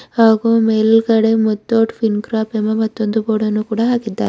ಹಾಗೂ ಮೇಲ್ಗಡೆ Muthoot fin corp ಎಂಬ ಇನ್ನೊಂದು ಬೋರ್ಡ್ ಅನ್ನು ಕೂಡ ಹಾಕಿದ್ದಾರೆ.